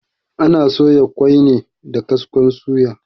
Ana soya ƙoi ne da kaskon suya.